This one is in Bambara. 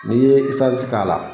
N'i ye isnasi k'a la